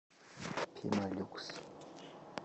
пемолюкс